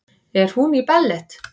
Er hún í ballett?